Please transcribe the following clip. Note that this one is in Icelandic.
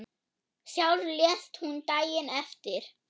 Sjálf lést hún daginn eftir.